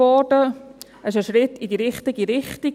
Das StG ist ein Schritt in die richtige Richtung;